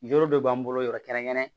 Yɔrɔ dɔ b'an bolo yɔrɔ kɛrɛnkɛrɛn